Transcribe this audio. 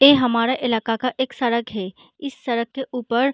ऐ हमारे इलाका का एक सड़क है इस सड़क के ऊपर --